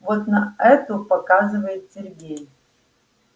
вот на эту показывает сергей